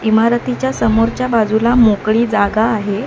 इमारतीच्या समोरच्या बाजूला मोकळी जागा आहे.